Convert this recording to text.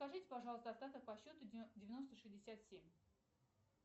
скажите пожалуйста остаток по счету девяносто шестьдесят семь